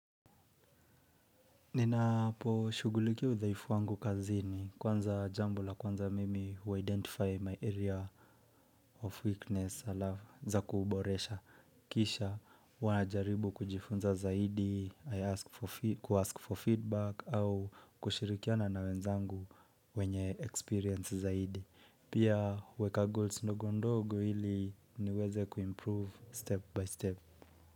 Ninaposhugulikia udhaifu wangu kazini kwanza jambo la kwanza mimi huidentify my area of weakness ala za kuboresha. Kisha huwa najaribu kujifunza zaidi, kuask for feedback au kushirikiana na wenzangu wenye experience zaidi. Pia huweka goals ndogo ndogo hili niweze kuimprove step by step.